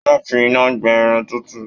Wọn fí iná gbẹ Irun tutu.